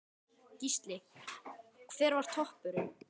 Gísli: Hver var toppurinn?